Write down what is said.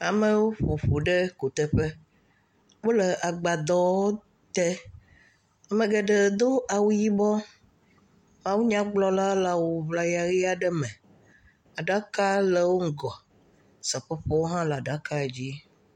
Amewo ƒo ƒu ɖe kuteƒe. Wole agbadɔwo te. Ame geɖee do awu yibɔ. Mawunyagblɔla le awuŋlaya ʋi aɖe me. Aɖaka le wo ŋgɔ. Seƒoƒowo hã le aɖakadzi.